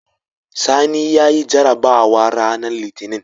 Sani yayi jarabawa ranar litinin